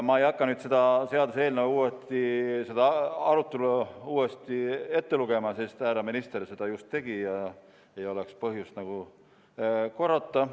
Ma ei hakka selle seaduseelnõu arutelu uuesti ette lugema, sest härra minister seda just tegi – ei ole põhjust korrata.